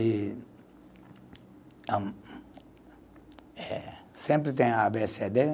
E a (som de deglutição) sempre tem a bê cê. dê.